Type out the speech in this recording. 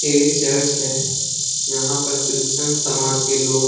ये चर्च है यहाँ पर क्रिस्टियन समाज के लोग --